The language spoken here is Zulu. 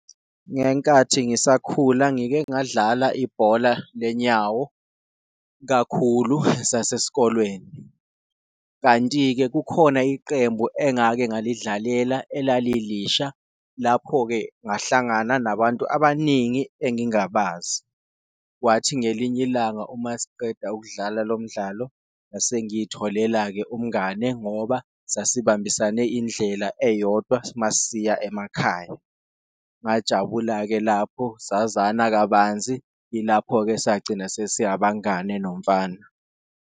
Ngenkathi ngisakhula ngike ngadlala ibhola lenyawo kakhulu esasesikolweni kanti-ke, kukhona iqembu engake ngalidlalela elali lisha, lapho-ke ngahlangana nabantu abaningi engingabazi. Kwathi ngelinye ilanga uma siqeda ukudlala lo mdlalo ngase ngiyitholela-ke umngane ngoba sasibambisane indlela eyodwa masiya emakhaya, ngajabula-ke lapho sazana kabanzi, ilapho-ke sagcina sesi abangane nomfana.